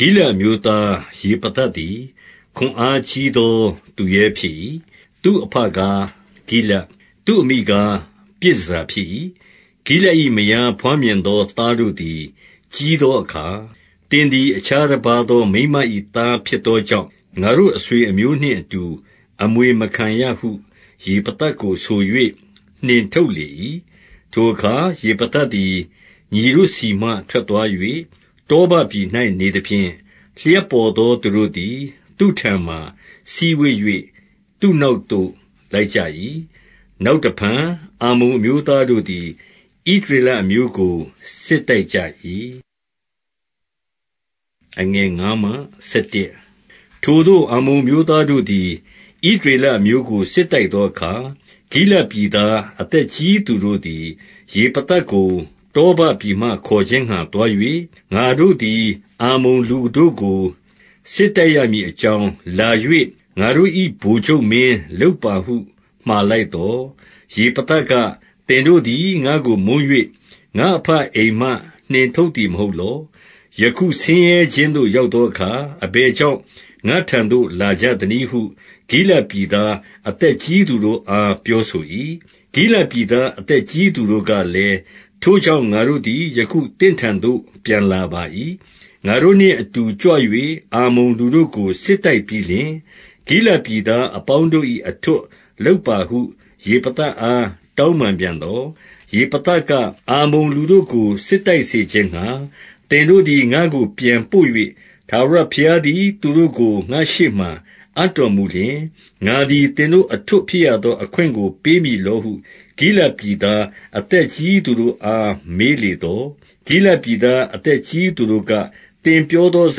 ဂိလဒ်အမျိုးသား ယေဖသသည် ခွန်အားကြီးသော သူရဲဖြစ်၏။ သူ့အဘကား ဂိလဒ်၊ သူ့အမိကား ပြည်တန်ဆာဖြစ်၏။ 2 ဂိလဒ်၏မယား ဘွားမြင်သော သားတို့သည် ကြီးသောအခါ၊ သင်သည် အခြားတပါးသော မိန်းမ၏ သားဖြစ်သောကြောင့်၊ ငါတို့ အဆွေအမျိုးနှင့်အတူ အမွေမခံရဟု ယေဖသကို ဆို၍ နှင်ထုတ်လေ၏။ 3 ထိုအခါ ယေဖသသည် ညီတို့ဆီမှ ထွက်သွား၍ တောဘပြည်၌နေသဖြင့်၊ လျှပ်ပေါ်သော သူတို့သည် သူ့ထံမှာ စည်းဝေး၍ သူ့နောက်၌ လိုက်ကြ၏။ 4 နောက်တဖန် အမ္မုန်အမျိုးသားတို့သည် ဣသရေလအမျိုးကို စစ်တိုက်ကြ၏။ 5 ထိုသို့ အမ္မုန်အမျိုးသားတို့သည် ဣသရေလအမျိုးကို စစ်တိုက်သောအခါ၊ ဂိလဒ်ပြည်သား အသက်ကြီး သူတို့သည် ယေဖသကို တောဘပြည်မှ ခေါ်ခြင်းငှါ သွား၍၊ 6 ငါတို့သည် အမ္မုန်လူတို့ကို စစ်တိုက်ရမည်အကြောင်း၊ လာ၍ ငါတို့၏ ဗိုလ်ချုပ်မင်း လုပ်ပါဟု မှာလိုက်သော်၊ 7 ယေဖသက၊ သင်တို့သည် ငါ့ကို မုန်း၍ ငါ့အဘအိမ်မှ နှင်ထုတ်သည်မဟုတ်လော။ ယခု ဆင်းရဲခြင်းသို့ ရောက်သောအခါ၊ အဘယ်ကြောင့် ငါ့ထံသို့ လာကြသနည်းဟု ဂိလဒ်ပြည်သား အသက်ကြီးသူတို့အား ပြောဆို၏။ 8 ဂိလဒ်ပြည်သား အသက်ကြီးသူတို့ကလည်း၊ ထိုကြောင့် ငါတို့သည် ယခု သင့်ထံသို့ ပြန်လာပါ၏။ ငါတို့နှင့်အတူ ကြွ၍ အမ္မုန်လူတို့ကို စစ်တိုက်ပြီးလျှင်၊ ဂိလဒ်ပြည်သားအပေါင်းတို့၏ အထွဋ်လုပ်ပါဟု ယေဖသအား တောင်းပန်ပြန်သော်၊ 9 ယေဖသက၊ အမ္မုန်လူတို့ကို စစ်တိုက်စေခြင်းငှါ သင်တို့သည် ငါ့ကို ပြန်ပို့၍ ထာဝရဘုရားသည် သူတို့ကို ငါ့ရှေ့မှာ အပ်တော်မူလျှင်၊ ငါသည် သင်တို့ အထွဋ်ဖြစ်ရသောအခွင့်ကို ပေးမည်လောဟု ဂိလဒ်ပြည်သား အသက်ကြီးသူတို့အား မေးလေသော်၊ 10 ဂိလဒ်ပြည်သားအသက်ကြီးသူတို့က၊ သင်ပြောသော စ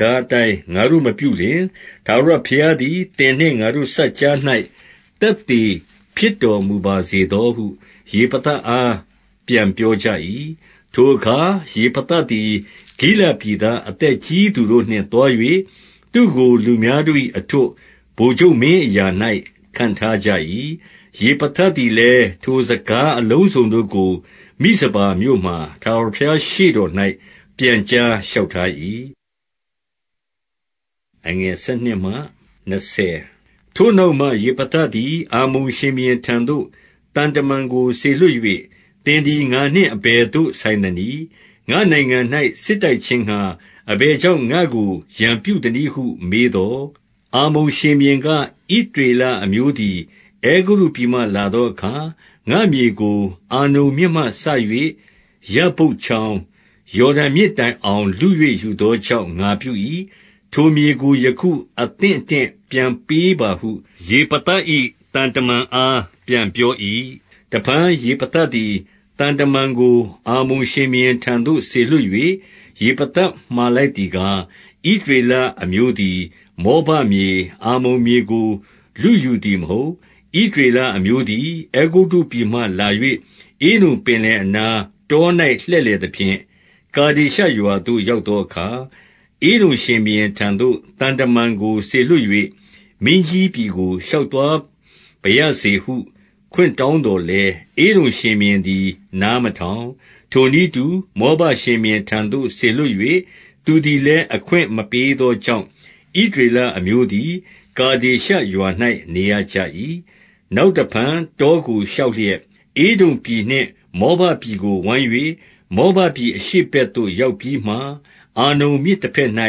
ကားအတိုင်း ငါတို့ မပြုလျှင် ထာဝရဘုရား သည် သင်နှင့် ငါတို့စပ်ကြား၌ သက်သေဖြစ်တော်မူပါစေသောဟု ယေဖသအား ပြန်ပြောကြ၏။ 11 ထိုအခါ ယေဖသသည် ဂိလဒ်ပြည်သား အသက်ကြီးသူတို့နှင့် သွား၍ သူ့ကို လူများတို့၏ အထွဋ် ဗိုလ်ချုပ်မင်းအရာ၌ ခန့်ထားကြ၏။ ယေဖသသည်လည်း ထိုစကားအလုံးစုံတို့ကို မိဖပါမြို့မှာ ထာဝရဘုရားရှေ့တော်၌ ပြန်ကြားလျှောက်ထား၏။ 12 ထိုနောက်မှ ယေဖသသည်၊ အမ္မုန်ရှင်ဘုရင်ထံသို့ သံတမန်ကို စေလွှတ်၍၊ သင်သည် ငါနှင့် အဘယ်သို့ ဆိုင်သနည်း။ ငါ့နိုင်ငံ၌ စစ်တိုက်ခြင်းငှါ အဘယ်ကြောင့် ငါ့ကို ရန်ပြုသနည်းဟု မေးသော်၊ 13 အမ္မုန်ရှင်ဘုရင်က၊ ဣသရေလအမျိုးသည် အဲဂုတ္တုပြည်မှလာသောအခါ၊ ငါ့မြေကို အာနုန်မြစ်မှစ၍ ယဗ္ဗုတ်ချောင်း၊ ယော်ဒန်မြစ်တိုင်အောင် လု၍ယူသောကြောင့် ငါပြု၏။ ထိုမြေကို ယခုအသင့်အတင့် ပြန်ပေးပါဟု ယေဖသ၏သံတမန်အား ပြန်ပြော၏။ 14 တဖန် ယေဖသသည် သံတမန်ကို အမ္မုန်ရှင်ဘုရင်ထံသို့ စေလွှတ်၍၊ 15 ယေဖသ မှာလိုက်သည်ကား၊ ဣသရေလအမျိုးသည် မောဘမြေ၊ အမ္မုန်မြေကို လုယူသည်မဟုတ်။ 16 ဣသရေလအမျိုးသည် အဲဂုတ္တုပြည်မှလာ၍ ဧဒုံပင်လယ်အနား၊ တော၌ လှည့်လည်သဖြင့် ကာဒေရှ ရွာသို့ ရောက်သောအခါ၊ 17 ဧဒုံရှင်ဘုရင်ထံသို့ သံတမန်ကို စေလွှတ်၍၊ မင်းကြီးပြည်ကို ရှောက်သွားပါရစေဟု အခွင့်တောင်းသော် လည်း၊ ဧဒုံရှင်ဘုရင်သည် နားမထောင်။ ထိုနည်းတူ မောဘရှင်ဘုရင်ထံသို့ စေလွှတ်၍၊ သူသည်လည်း အခွင့်မပေးသောကြောင့်၊ ဣသရေလအမျိုးသည် ကာဒေရှရွာ၌ နေရကြ၏။ 18 နောက်တဖန် တောကို ရှောက်လျက်၊ ဧဒုံပြည်နှင့် မောဘပြည်ကို ဝိုင်း၍ မောဘပြည် အရှေ့ဘက်သို့ ရောက်ပြီးမှ အာနုန်မြစ်တဘက်၌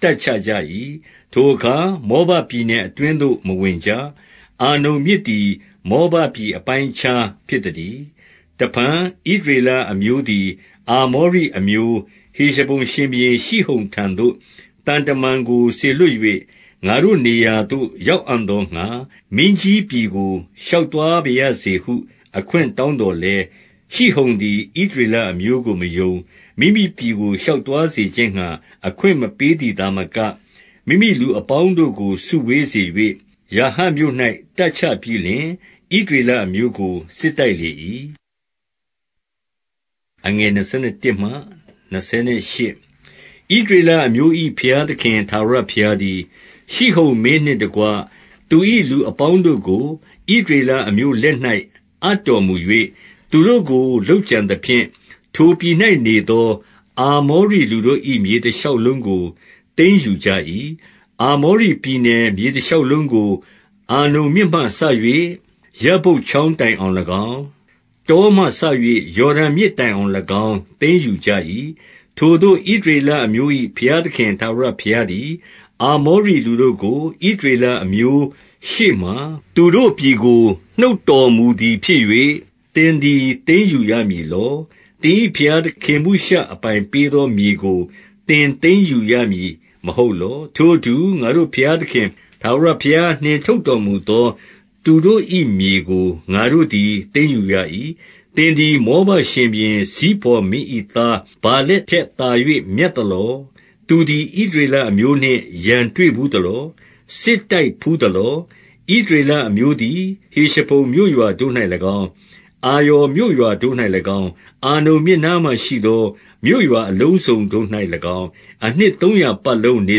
တပ်ချကြ၏။ ထိုအခါ မောဘပြည်နယ်အတွင်းသို့ မဝင်ကြ။ အာနုန်မြစ်သည် မောဘပြည်အပိုင်းအခြားဖြစ်သတည်း။ 19 တဖန် ဣသရေလအမျိုးသည် အာမောရိအမျိုး ဟေရှဘုန်ရှင်ဘုရင်ရှိဟုန်ထံသို့ သံတမန်ကို စေလွှတ်၍၊ ငါတို့နေရာသို့ ရောက်အံ့သောငှါ မင်းကြီးပြည်ကို ရှောက်သွားပါရစေဟု အခွင့်တောင်း သော်လည်း၊ 20 ရှိဟုန်သည် ဣသရေလအမျိုးကို မယုံ၊ မိမိပြည်ကို ရှောက်သွားစေခြင်းငှါ အခွင့်မပေးသည်သာမက၊ မိမိလူအပေါင်းတို့ကို စုဝေးစေ၍၊ ယာဟတ်မြို့၌ တပ်ချပြီးလျှင် ဣသရေလအမျိုးကို စစ်တိုက်လေ၏။ 21 ဣသရေလအမျိုး၏ ဘုရားသခင် ထာဝရဘုရားသည်၊ ရှိဟုန်မင်းနှင့်တကွ သူ၏လူအပေါင်းတို့ ဣသရေလအမျိုးလက်၌ အပ်တော်မူ၍၊ သူတို့ကို လုပ်ကြံသဖြင့် ထိုပြည်၌နေသော အာမောရိလူတို့၏ မြေတရှောက်လုံးကို သိမ်းယူကြ၏။ 22 အာမောရိပြည် နယ်မြေတရှောက်လုံးကို အာနုန်မြစ်မှစ၍ ယဗ္ဗုတ်ချောင်းတိုင်အောင်၎င်း၊ တောမှစ၍ ယော်ဒန်မြစ်တိုင်အောင်၎င်း သိမ်းယူကြ၏။ 23 ထိုသို့ ဣသရေလအမျိုး၏ ဘုရားသခင်ထာဝရဘုရားသည်၊ အာမောရိလူတို့ကို ဣသရေလအမျိုး ရှေ့မှာ သူတို့ပြည်ကို နှုတ်တော်မူသည်ဖြစ်၍၊ သင်သည် သိမ်းယူရမည်လော။ 24 သင်၏ဘုရားခေမုရှ အပိုင်ပေးသောမြေကို သင်သိမ်းယူရသည်မဟုတ်လော။ ထိုအတူ ငါတို့ ဘုရားသခင် ထာဝရဘုရား နှင်ထုတ်တော်မူသော သူတို့၏မြေကို ငါတို့သည် သိမ်းယူရ၏။ 25 သင်သည် မောဘရှင်ဘုရင် ဇိဖော်မင်း၏သား ဗာလက်ထက်သာ၍ မြတ်သလော။ သူသည် ဣသရေလအမျိုးနှင့် ရန်တွေ့ဘူးသလော။ စစ်တိုက်ဘူးသလော။ 26 ဣသရေလအမျိုးသည် ဟေရှဘုန်မြို့ရွာတို့၌၎င်း၊ အာရော်မြို့ရွာတို့၌၎င်း၊ အာနုန်မြစ်နားမှာရှိသော မြို့ရွာအလုံးစုံတို့၌၎င်း အနှစ်သုံးရာပတ်လုံးနေ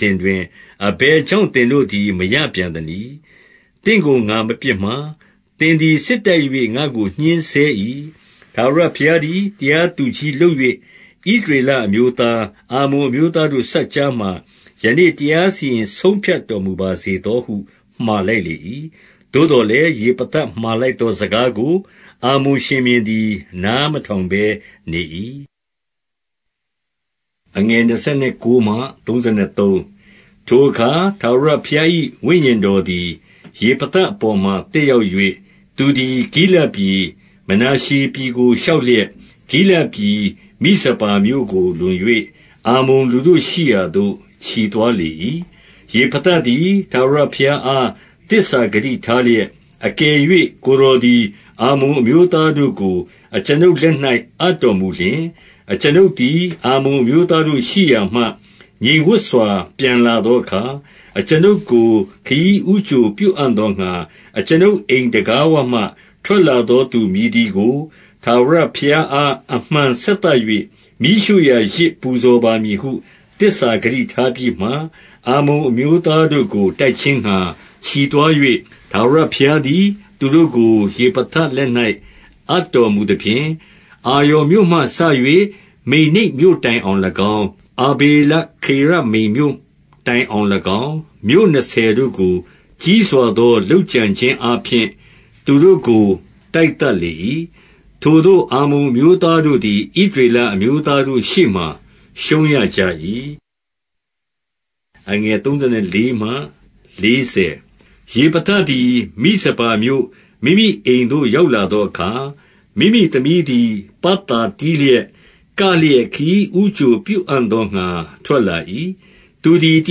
စဉ်တွင် အဘယ်ကြောင့် သင်တို့သည် မရပြန်သနည်း။ 27 သင့်ကို ငါမပြစ်မှား။ သင်သည် စစ်တိုက်၍ ငါ့ကို ညှဉ်းဆဲ၏။ ထာဝရဘုရားသည် တရားသူကြီးလုပ်၍ ဣသရေလအမျိုးသား၊ အမ္မုန်အမျိုးသားတို့ စပ်ကြားမှာ ယနေ့တရားစီရင်ဆုံးဖြတ်တော်မူပါစေသော ဟု မှာလိုက်လေ၏။ 28 သို့သော်လည်း ယေဖသမှာလိုက်သောစကားကို အမ္မုန်ရှင်ဘုရင်သည် နားမထောင်ဘဲ နေ၏။ 29 ထိုအခါ ထာဝရဘုရား၏ ဝိညာဉ်တော်သည် ယေဖသအပေါ်မှာ သက်ရောက်၍၊ သူသည် ဂိလဒ်ပြည်၊ မနာရှေပြည်ကို ရှောက်လျက် ဂိလဒ်ပြည် မိဇပါမြို့ကို လွန်၍ အမ္မုန်လူတို့ရှိရာသို့ ချီသွားလေ၏။ 30 ယေဖသသည် ထာဝရဘုရားအား သစ္စာဂတိထားလျက်၊ အကယ်၍ ကိုယ်တော်သည် အမ္မုန်အမျိုးသား တို့ကို အကျွန်ုပ်လက်၌ အပ်တော်မူလျှင်၊ 31 အကျွန်ုပ်သည် အမ္မုန်အမျိုးသားတို့ရှိရာမှ ငြိမ်ဝပ်စွာ ပြန်လာသောအခါ၊ အကျွန်ုပ်ကို ခရီးဦးကြို ပြုအံ့သောငှါ အကျွန်ုပ်အိမ်တံခါးဝမှ ထွက်လာသောသူ မည်သည်ကို ထာဝရဘုရားအား အမှန်ဆက်သ၍ မီးရှို့ရာယဇ်ပူဇော်ပါမည်ဟု သစ္စာဂတိထားပြီးမှ၊ 32 အမ္မုန်အမျိုးသားတို့ကို တိုက်ခြင်းငှါ ချီသွား၍၊ ထာဝရဘုရားသည် သူတို့ကို ယေဖသလက်၌ အပ်တော် မူသဖြင့်၊ 33 အာရော်မြို့မှစ၍ မိန္နိတ်မြို့တိုင်အောင်၎င်း၊ အာဗေလခေရမိမ်မြို့တိုင်အောင်၎င်း၊ မြို့နှစ်ဆယ်တို့ကို ကြီးစွာသော လုပ်ကြံခြင်းအားဖြင့် သူတို့ကို တိုက်သတ်လေ၏။ ထိုသို့ အမ္မုန်အမျိုးသားတို့သည် ဣသရေလအမျိုးသားတို့ ရှေ့မှာ ရှုံးရကြ၏။ 34 ယေဖသသည် မိဇပါမြို့ မိမိအိမ်သို့ ရောက်လာသောအခါ၊ မိမိသမီးသည် ပတ်သာတီးလျက်၊ ကလျက်ခရီးဦးကြိုပြုအံ့သောငှါ ထွက်လာ၏။ သည် တ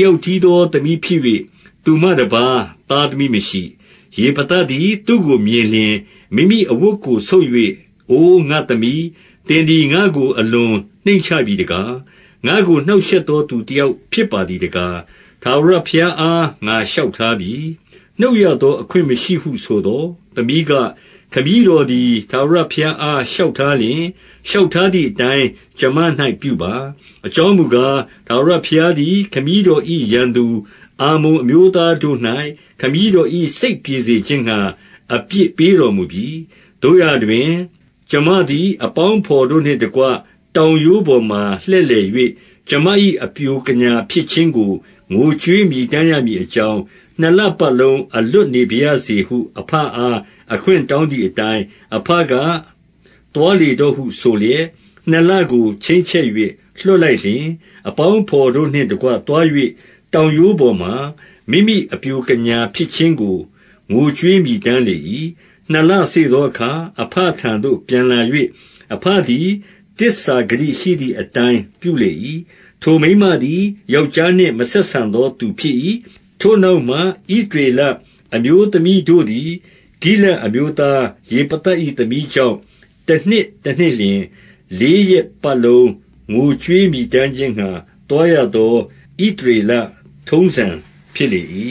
ယောက်တည်းသော သမီးဖြစ်၍၊ သူမှတပါး သားသမီးမရှိ။ 35 ယေဖသသည် သူ့ကိုမြင်လျှင်၊ မိမိအဝတ်ကို ဆုတ်၍၊ အို ငါ့သမီး၊ သင်သည် ငါ့ကို အလွန်နှိမ့်ချပြီ တကား။ ငါ့ကို နှောင့်ရှက်သော သူတယောက်ဖြစ်ပါသည်တကား။ ထာဝရဘုရားအား ငါလျှောက်ထားပြီး။ နှုတ်ရသောအခွင့်မရှိဟု ဆိုသော်၊ 36 သမီးက၊ ခမည်းတော်သည် ထာဝရဘုရားအား လျှောက်ထားလျှင်၊ လျှောက်ထားသည်အတိုင်း ကျွန်မ၌ ပြုပါ။ အကြောင်းမူကား၊ ထာဝရဘုရားသည် ခမည်းတော်၏ရန်သူ အမ္မုန်အမျိုးသားတို့၌ ခမည်းတော်၏စိတ်ပြေစေခြင်းငှါ အပြစ်ပေးတော်မူပြီ။ 37 သို့ရာတွင် ကျွန်မသည် အပေါင်းအဘော်တို့နှင့်တကွ တောင်ရိုးပေါ်မှာ လှည့်လည်၍၊ ကျွန်မ၏ အပျိုကညာဖြစ်ခြင်းကို ငိုကြွေးမြည်တမ်းရမည်အကြောင်း၊ နှစ်လပတ်လုံး အလွတ်နေပါရစေဟု အဘအား အခွင့်တောင်းမသည်အတိုင်း၊ 38 အဘက၊ သွားလေတော့ဟုဆိုလျက် နှစ်လကို ချိန်းချက်၍ လွှတ်လိုက်လျှင်၊ အပေါင်းအဘော်တို့နှင့် တကွ သွား၍ တောင်ရိုးပေါ်မှာ မိမိအပျိုကညာဖြစ်ခြင်းကို ငိုကြွေးမြည်တမ်းလေ၏။ 39 နှစ်လစေ့သောအခါ အဘထံသို့ ပြန်လာ၍၊ အဘသည် သစ္စာဂတိရှိသည်အတိုင်း ပြုလေ၏။ ထိုမိန်းမသည် ယောက်ျားနှင့် မဆက်ဆံသော သူဖြစ်၏။ 40 ထိုနောက်မှ ဣသရေလအမျိုးသမီးတို့သည်၊ ဂိလဒ်အမျိုးသားယေဖသ၏သမီးကြောင့် တနှစ်တနှစ် လျှင် လေးရက်ပတ်လုံး ငိုကြွေးမြည်တမ်းခြင်းငှါ သွားရသော ဣသရေလ ထုံးစံဓလေ့ ဖြစ်လေ၏။